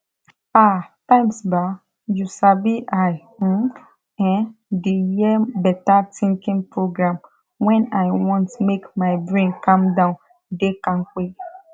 ah times bah u sabi i um ern de hear beta tinkin program wen i want make my brain calm down dey kampe